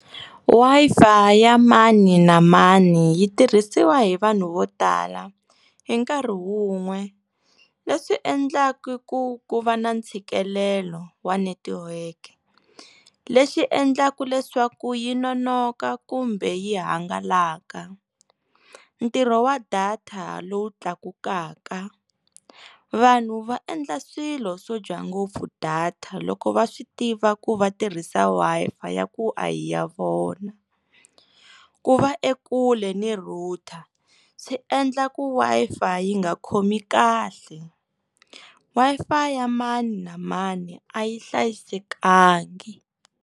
Wi-Fi ya mani na mani yi tirhisiwa hi vanhu vo tala hi nkarhi wun'we leswi endlaku ku ku va na ntshikelelo wa netiweke leswi endlaku leswaku yi nonoka kumbe yi hangalaka ntirho wa data lowu tlakukaka vanhu va endla swilo swo dya ngopfu data loko va swi tiva ku va tirhisa Wi-Fi ya ku a hi ya vona ku va ekule ni router swi endla ku Wi-Fi yi nga khomi kahle Wi-Fi ya mani na mani a yi hlayisekangi.